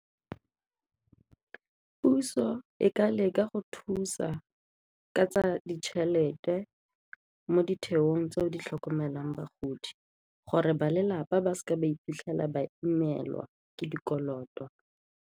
Puso e ka leka go thusa ka tsa ditšhelete mo ditheong tseo di tlhokomelang bagodi gore ba lelapa ba seke ba iphitlhela ba imelwa ke dikoloto.